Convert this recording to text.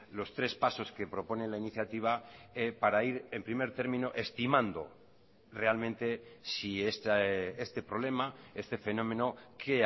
los tres pasos que propone la iniciativa para ir en primer término estimando realmente si este problema este fenómeno qué